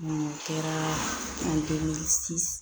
o kɛra